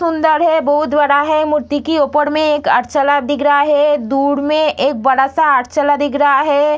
सुंदर हैं बहुत बड़ा हैं मूर्ति के ऊपर मे एक अर्चला दिख रहा हैं दूर मे एक बड़ा-सा अर्चला दिख रहा हैं।